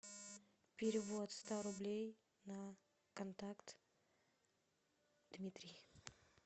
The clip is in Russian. перевод ста рублей на контакт дмитрий